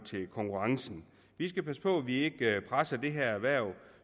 til konkurrencen vi skal passe på at vi ikke presser det her erhverv